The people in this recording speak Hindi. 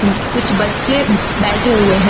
कुछ बच्चे बैठे हुए हैं।